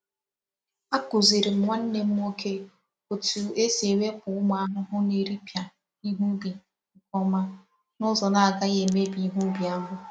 Akụziri'm nwannem nwoke otu esi ewepu umu ahụhụ na eri pịa ihe ubi nke oma, na uzo na agaghị emebi ihe ubi ahụ